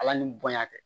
Ala ni bonya tɛ